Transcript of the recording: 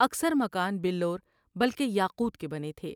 اکثر مکان بلور بلکہ یاقوت کے بنے تھے ۔